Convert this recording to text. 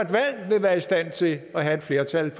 et valg i stand til at have et flertal